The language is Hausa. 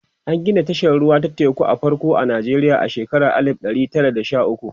an Gina tashar ruwa ta teku ta farko a Nijeriya a shekara alif ɗari Tara da Sha ukwu